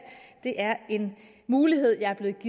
det er en mulighed jeg er blevet